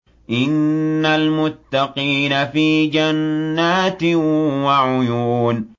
إِنَّ الْمُتَّقِينَ فِي جَنَّاتٍ وَعُيُونٍ